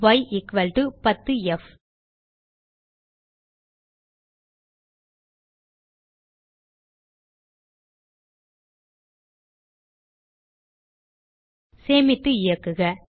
y10f சேமித்து இயக்குக